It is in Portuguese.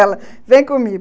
Ela, vem comigo.